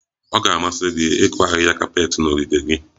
Ọ ga-amasị gị ịkụ ahịhịa kapet na ogige gị?